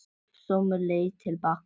Hljóp sömu leið til baka.